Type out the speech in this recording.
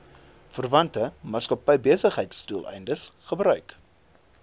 verwante maatskappybesigheidsdoeleindes gebruik